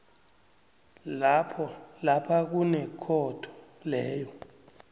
lapha kunekhotho leyo